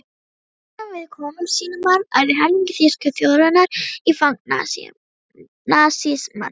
Hræðslan við kommúnismann ærði helming þýsku þjóðarinnar í fang nasismans.